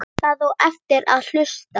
Það á eftir að hlusta.